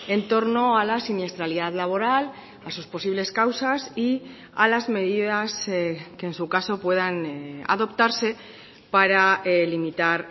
en torno a la siniestralidad laboral a sus posibles causas y a las medidas que en su caso puedan adoptarse para limitar